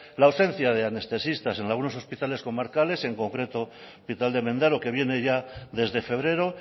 la ausencia de anestesistas en algunos hospitales comarcales en concreto hospital de mendaro que viene ya desde febrero